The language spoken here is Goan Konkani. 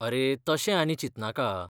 अरे, तशें आनी चिंतनाका.